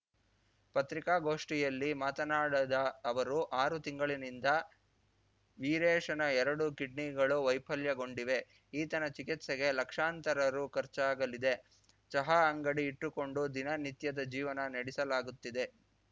ಪತ್ರಿಕಾಗೋಷ್ಠಿಯಲ್ಲಿ ಮಾತನಾಡದ ಅವರು ಆರು ತಿಂಗಳಿನಿಂದ ವೀರೇಶನ ಎರಡು ಕಿಡ್ನಿಗಳು ವೈಫಲ್ಯಗೊಂಡಿವೆ ಈತನ ಚಿಕಿತ್ಸೆಗೆ ಲಕ್ಷಾಂತರ ರು ಖರ್ಚಾಗಲಿದೆ ಚಹಾ ಅಂಗಡಿ ಇಟ್ಟುಕೊಂಡು ದಿನ ನಿತ್ಯದ ಜೀವನ ನಡೆಸಲಾಗುತ್ತಿದೆ